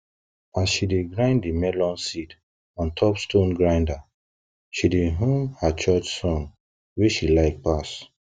as she dey grind di melon seed on top stone grinder she dey hum her church song wey she like pass